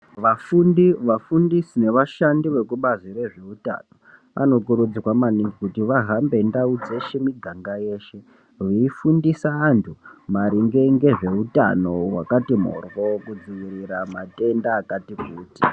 Vafundi, vafundisi nevashandi vekubazi rezveutano anokurudzirwa maningi kuti vahambe ndau dzeshe miganga yeshe veifundisa anhtu maringe ngezveutano wakati mhoryo kudziirira matenda akati kuti.